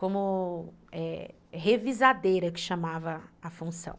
Como é, revisadeira, que chamava a função.